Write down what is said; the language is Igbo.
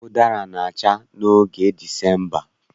Ụdara na-acha n'oge Disemba